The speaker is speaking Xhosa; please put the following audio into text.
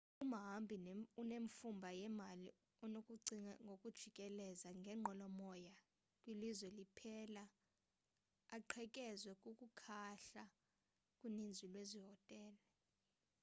umhambi onemfumba yemali unokucinga ngokujikeleza ngenqwelomoya kwilizwe liphela aqhekezwe kukuhlala kuninzi lwezi hotele